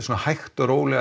hægt og rólega